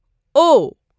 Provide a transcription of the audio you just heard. او